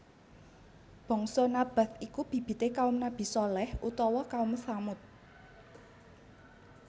Bangsa Nabath iku bibite kaum Nabi Shaleh utawa Kaum Tsamud